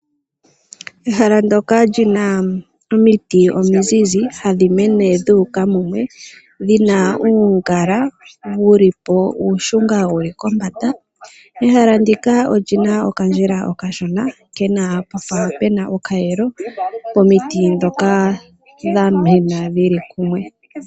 Ehala ndyoka lina omiti omizizi hadhi mene dhuuka mumwe . Dhina uungala uushunga wuli pombanda. Ehala ndika olina oka ndjila oka shona puna oka yelo pomiti ndhoka dha mena dhili mumwe.